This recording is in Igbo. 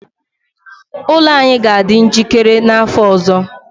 ụlọ anyị ga-adị njikere n'afọ ọzọ